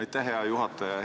Aitäh, hea juhataja!